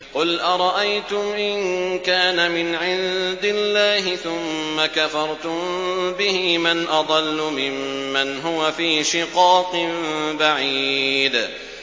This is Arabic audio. قُلْ أَرَأَيْتُمْ إِن كَانَ مِنْ عِندِ اللَّهِ ثُمَّ كَفَرْتُم بِهِ مَنْ أَضَلُّ مِمَّنْ هُوَ فِي شِقَاقٍ بَعِيدٍ